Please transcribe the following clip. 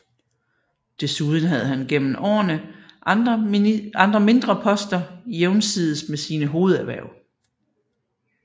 Desuden havde han gennem årene andre mindre poster jævnsides med sine hovederhverv